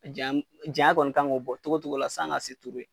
Janyani janya kɔni kan ka o bɔ cogo cogo la san ka duuru ye.